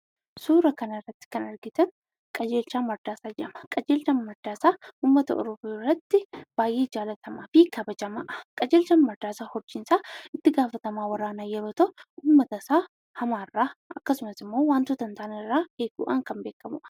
Suuraa kanarratti kan argitan obbo Qajeelchaa Mardaasaa jedhama. Qajeelchaan Mardaasaan uummata Oromoo biratti baay'ee jaallatamaa fi kabajamaa kan ta'eedha. Qajeelchaan Mardaasaa itti gaafatamaa waraanaa yommuu ta'u, akkasumas uummata wantoota hin taanerraa eeguudhaan kan beekamudha.